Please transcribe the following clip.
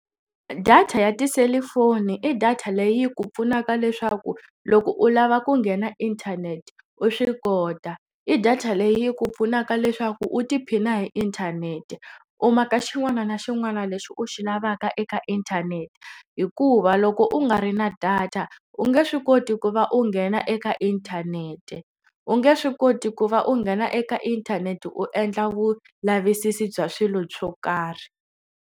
Data ya tiselifoni i data leyi ku pfunaka leswaku loko u lava ku nghena inthanete u swi kota i data leyi ku pfunaka leswaku u tiphina hi inthanete u maka xin'wana na xin'wana lexi u xi lavaka eka inthanete hikuva loko u nga ri na data u nge swi koti ku va u nghena eka inthanete u nge swi koti ku va u nghena eka inthanete u endla vulavisisi bya swilo swo karhi.